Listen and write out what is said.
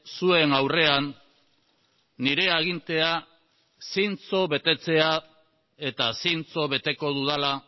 zuen aurrean nire agintea zintzo betetzea eta zintzo beteko dudala